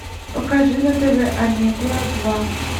покажи на тв амедия два